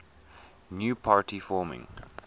new party forming